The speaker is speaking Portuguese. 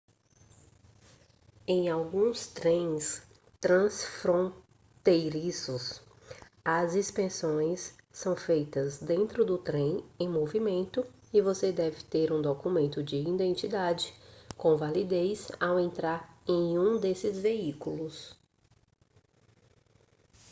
em alguns trens transfronteiriços as inspeções são feitas dentro do trem em movimento e você deve ter um documento de identidade com validez ao entrar em um desses veículos